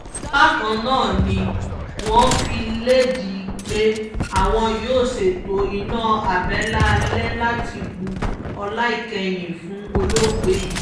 bákan náà ni wọ́n fi lédè pé àwọn yóò ṣètò iná àbẹ́là alẹ́ láti bu ọlá ìkẹyìn fún olóògbé yìí